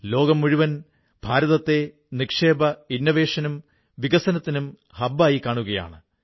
ലോകം മുഴുവൻ ഭാരതത്തെ പുതിയ നിക്ഷേപത്തിനും വികസനത്തിനുമുള്ള കേന്ദ്രമായി കാണുകയാണ്